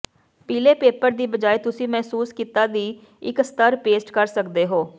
ਪੀਲੇ ਪੇਪਰ ਦੀ ਬਜਾਏ ਤੁਸੀਂ ਮਹਿਸੂਸ ਕੀਤਾ ਦੀ ਇੱਕ ਸਤਰ ਪੇਸਟ ਕਰ ਸਕਦੇ ਹੋ